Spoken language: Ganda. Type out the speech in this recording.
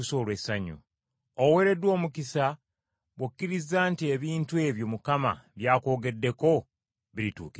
Oweereddwa omukisa bw’okkirizza nti ebintu ebyo Mukama bya kwogeddeko birituukirizibwa.”